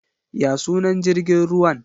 Ya sunan jrigin ruwan?